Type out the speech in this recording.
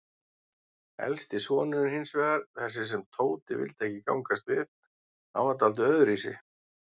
Elsti sonurinn hinsvegar, þessi sem Tóti vildi ekki gangast við, hann var dáldið öðruvísi.